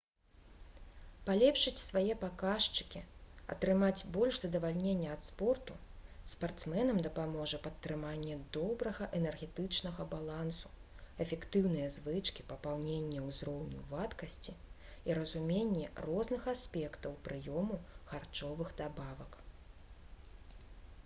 палепшыць свае паказчыкі атрымаць больш задавальнення ад спорту спартсменам дапаможа падтрыманне добрага энергетычнага балансу эфектыўныя звычкі папаўнення ўзроўню вадкасці і разуменне розных аспектаў прыёму харчовых дабавак